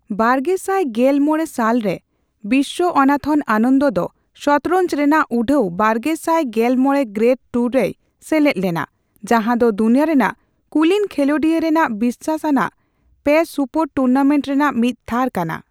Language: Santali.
ᱵᱟᱨᱜᱮᱥᱟᱭ ᱜᱮᱞ ᱢᱚᱲᱮ ᱥᱟᱞ ᱨᱮ, ᱵᱤᱥᱣᱟᱚᱱᱟᱛᱷᱚᱱ ᱟᱱᱚᱸᱫ ᱫᱚ ᱥᱚᱛᱚᱨᱚᱸᱡ ᱨᱮᱱᱟᱜ ᱩᱰᱷᱟᱹᱣ ᱵᱟᱨᱜᱮᱥᱟᱭ ᱜᱮᱞ ᱢᱚᱲᱮ ᱜᱨᱮᱰ ᱴᱩᱨ ᱨᱮᱭ ᱥᱮᱞᱮᱫ ᱞᱮᱱᱟ, ᱡᱟᱸᱦᱟ ᱫᱚ ᱫᱩᱱᱤᱭᱟᱹ ᱨᱮᱱᱟᱜ ᱠᱩᱞᱤᱱ ᱠᱷᱮᱞᱳᱱᱰᱤᱭᱟᱹ ᱨᱮᱱᱟᱜ ᱵᱤᱥᱟᱹᱥ ᱟᱱᱟᱜ ᱯᱮ ᱥᱩᱯᱚᱨᱼᱴᱩᱨᱱᱟᱴᱮᱸᱴ ᱨᱮᱱᱟᱜ ᱢᱤᱫ ᱛᱷᱟᱨ ᱠᱟᱱᱟ ᱾